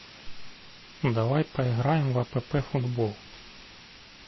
давай поиграем в апп футбол